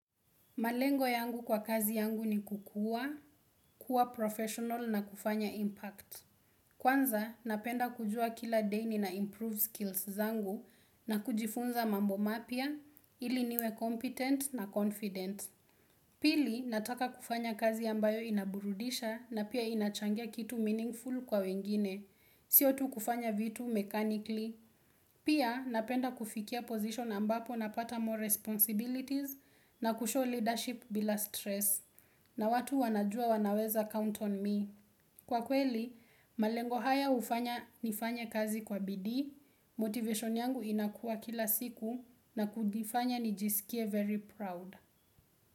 Malengo yangu kwa kazi yangu ni kukua, kuwa professional na kufanya impact. Kwanza, napenda kujua kila day ni na improve skills zangu na kujifunza mambo mapia, ili niwe competent na confident. Pili, nataka kufanya kazi ambayo inaburudisha na pia inachangia kitu meaningful kwa wengine, siotu kufanya vitu mechanically. Pia napenda kufikia position ambapo na pata more responsibilities na kushow leadership bila stress na watu wanajua wanaweza count on me. Kwa kweli, malengo haya ufanya nifanya kazi kwa bidii, motivation yangu inakua kila siku na kudifanya nijisikie very proud.